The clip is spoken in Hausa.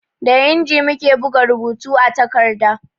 Da inji muke buga rubutu a takarda